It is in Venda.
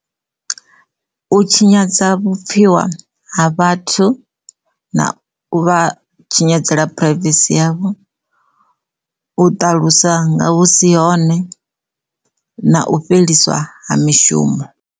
U tshinyadzwa vhupfiwa ha vhathu na u vha tshinyadza phuraivesi yavho u ṱalusa nga hu si hone na u fheliswa ha mishumo.